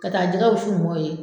Ka taa jɛgɛwusu mɔw ye